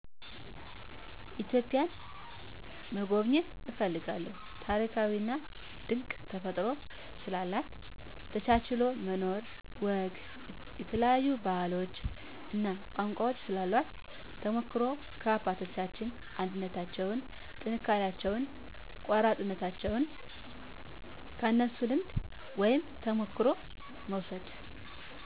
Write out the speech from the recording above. ኢትዮጵያን መጎብኘት እፈልጋለሁ ታሪካዊና ድንቅ ተፈጥሮ ስላላት፣ ተቻችሎ መኖርን፣ ወግ፣ የተለያዮ ባህሎች እና ቋንቋ ስላሏት ተሞክሮዉ ከአባቶቻችን አንድነታቸዉን፣ ጥንካሬያቸውን፣ ቆራጥነታቸዉን ከነሱ ልምድ ወይም ተሞክሮ መዉሰድ